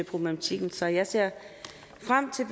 problematikken så jeg ser frem til